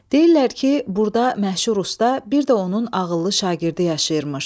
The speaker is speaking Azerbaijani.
Deyirlər ki, burda məşhur Usta, bir də onun ağıllı şagirdi yaşayırmış.